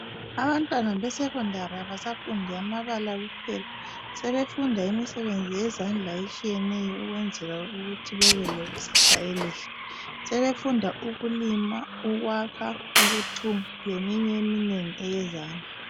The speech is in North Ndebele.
Abantwana be secondary abasafundi amabala kuphela, sebefunda imisebenzi yezandla etshiyeneyo ukwenzela ukuthi bebe lekusasa elihle. Sebefunda ukulima, ukwakha, ukuthunga, leminye eminengi eyezandla.